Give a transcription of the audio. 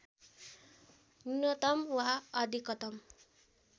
न्यूनतम वा अधिकतम